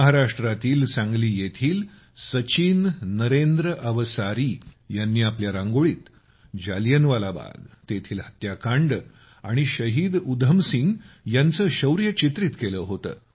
महाराष्ट्रातील सांगली येथील सचिन नरेंद्र अवसारी यांनी आपल्या रांगोळीत जालियनवाला बाग तेथील हत्याकांड आणि शहीद उधम सिंग यांचे शौर्य चित्रित केले होते